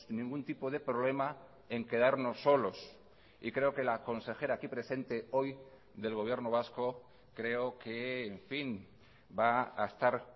ningún tipo de problema en quedarnos solos y creo que la consejera aquí presente hoy del gobierno vasco creo que en fin va a estar